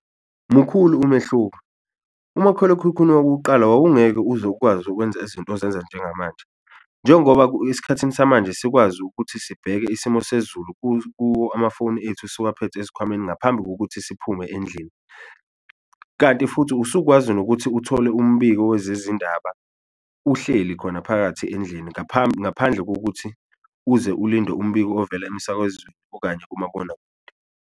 Mukhulu umehluko. Umakhalekhukhwini wakuqala wawungeke uze ukwazi ukwenza izinto ozenza njengamanje, njengoba esikhathini samanje sikwazi ukuthi sibheke isimo sezulu kuwo amafoni ethu siwaphethe esikhwameni ngaphambi kokuthi siphume endlini. Kanti futhi usukwazi nokuthi uthole umbiko wezezindaba uhleli khona phakathi endlini ngaphambi ngaphandle kokuthi uze ulinde umbiko ovela emsakazweni okanye kumabonakude.